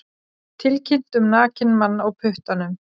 Tilkynnt um nakinn mann á puttanum